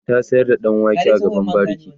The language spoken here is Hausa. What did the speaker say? ta sayar da ɗan wake a gaban bariki